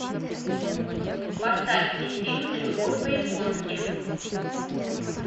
поставь мне фильм любовь по японски